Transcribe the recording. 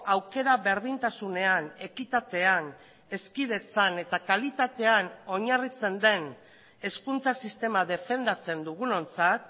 aukera berdintasunean ekitatean hezkidetzan eta kalitatean oinarritzen den hezkuntza sistema defendatzen dugunontzat